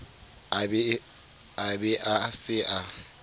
a be a se a